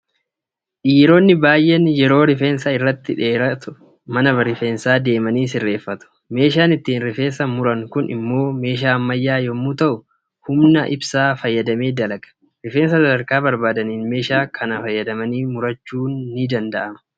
Dhiironni baay'een yeroo rifeensa irratti dheeratu mana rifeensaa deemanii sirreeffatu. Meeshaan ittiin rifeensa muran kun immoo meeshaa ammayyaa yommuu ta'u, humna ibsaa fayyadamee dalaga. Rifeensa sadarkaa barbaadaniin meeshaa kana fayyadamanii murachuun ni danda'ama.